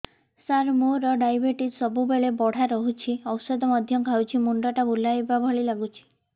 ସାର ମୋର ଡାଏବେଟିସ ସବୁବେଳ ବଢ଼ା ରହୁଛି ଔଷଧ ମଧ୍ୟ ଖାଉଛି ମୁଣ୍ଡ ଟା ବୁଲାଇବା ଭଳି ଲାଗୁଛି